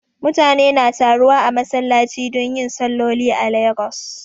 Mutane na taruwa a masallachi don yin salloli a Lagos